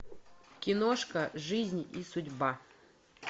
киношка жизнь и судьба